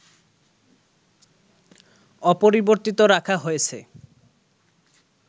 অপরিবর্তিত রাখা হয়েছে